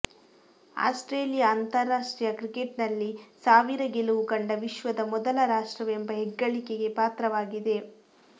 Australia ಅಂತಾರಾಷ್ಟ್ರೀಯ ಕ್ರಿಕೆಟ್ನಲ್ಲಿ ಸಾವಿರ ಗೆಲುವು ಕಂಡ ವಿಶ್ವದ ಮೊದಲ ರಾಷ್ಟವೆಂಬ ಹೆಗ್ಗಳಿಕೆಗೆ ಪಾತ್ರವಾಗಿದೆ